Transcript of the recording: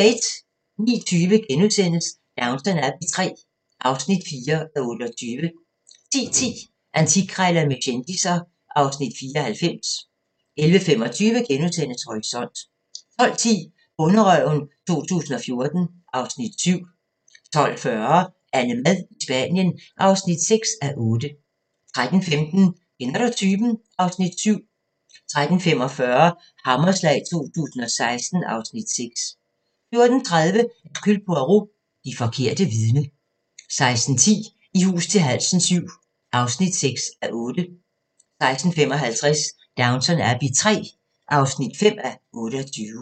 09:20: Downton Abbey III (4:28)* 10:10: Antikkrejlerne med kendisser (Afs. 94) 11:25: Horisont * 12:10: Bonderøven 2014 (Afs. 7) 12:40: AnneMad i Spanien (6:8) 13:15: Kender du typen? (Afs. 7) 13:45: Hammerslag 2016 (Afs. 6) 14:30: Hercule Poirot: Det forkerte vidne 16:10: I hus til halsen VII (6:8) 16:55: Downton Abbey III (5:28)